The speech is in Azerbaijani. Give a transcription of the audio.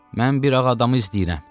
Mən bir ağ adamı izləyirəm.